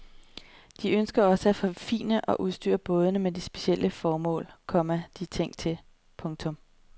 De ønsker også at forfine og udstyre bådene til de specielle formål, komma de er tænkt til. punktum